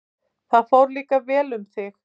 Þar fór líka vel um þig.